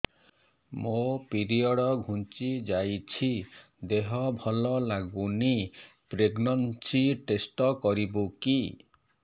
ମୋ ପିରିଅଡ଼ ଘୁଞ୍ଚି ଯାଇଛି ଦେହ ଭଲ ଲାଗୁନି ପ୍ରେଗ୍ନନ୍ସି ଟେଷ୍ଟ କରିବୁ କି